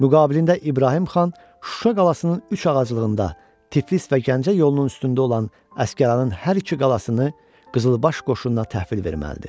Müqabilində İbrahim xan Şuşa qalasının üç ağaclığında, Tiflis və Gəncə yolunun üstündə olan əsgəranın hər iki qalasını qızılbaş qoşununa təhvil verməlidir.